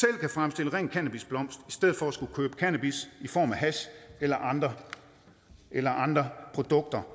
kan fremstille ren cannabisblomst i stedet for at skulle købe cannabis i form af hash eller andre eller andre produkter